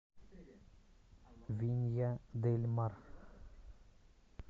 винья дель мар